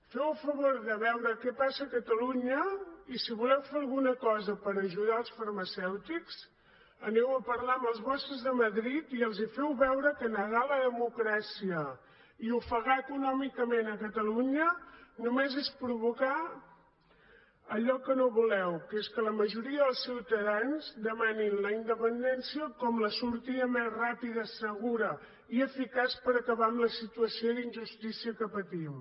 feu el favor de veure què passa a catalunya i si voleu fer alguna cosa per ajudar els farmacèutics aneu a parlar amb els vostres a madrid i els feu veure que negar la democràcia i ofegar econòmicament catalunya només és provocar allò que no voleu que és que la majoria dels ciutadans demanin la independència com la sortida més ràpida segura i eficaç per acabar amb la situació d’injustícia que patim